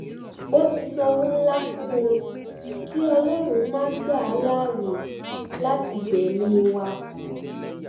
ó ti sanwó ńlá fún wọn kí ọlọrun má gbà á láàyè láti gbẹmí wa